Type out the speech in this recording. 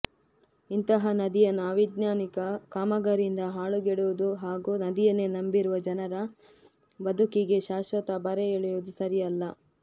ಇಂತಹ ನದಿಯನ್ನು ಅವೈಜ್ಞಾನಿಕ ಕಾಮಗಾರಿಯಿಂದ ಹಾಳುಗೆಡಹುವುದು ಹಾಗೂ ನದಿಯನ್ನೇ ನಂಬಿರುವ ಜನರ ಬದುಕಿಗೆ ಶಾಶ್ವತ ಬರೆ ಎಳೆಯುವುದು ಸರಿಯಲ್ಲ